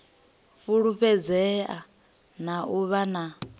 fulufhedzea na u vha na